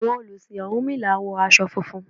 Àwọn olùsìn ọ̀rúnmìlà wọ aṣọ funfun.